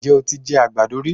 Ǹjẹ́ o ti jẹ àgbàdo rí?